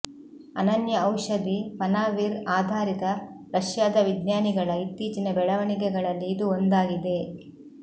ಅನನ್ಯ ಔಷಧಿ ಪನಾವಿರ್ ಆಧಾರಿತ ರಷ್ಯಾದ ವಿಜ್ಞಾನಿಗಳ ಇತ್ತೀಚಿನ ಬೆಳವಣಿಗೆಗಳಲ್ಲಿ ಇದು ಒಂದಾಗಿದೆ